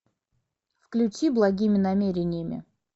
включи благими намерениями